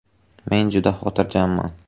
“Men juda xotirjamman.